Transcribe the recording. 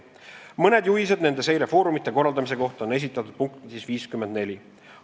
Mõned juhised nende seire foorumite korraldamise kohta on esitatud punktis 54.